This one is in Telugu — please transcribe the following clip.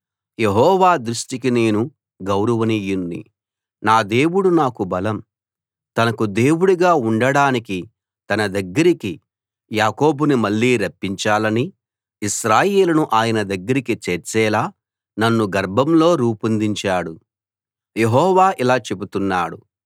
యెహోవా దృష్టికి నేను గౌరవనీయుణ్ణి నా దేవుడు నాకు బలం తనకు సేవకుడుగా ఉండడానికి తన దగ్గరికి యాకోబును మళ్ళీ రప్పించాలనీ ఇశ్రాయేలును ఆయన దగ్గరికి చేర్చేలా నన్ను గర్భంలో రూపొందించాడు యెహోవా ఇలా చెబుతున్నాడు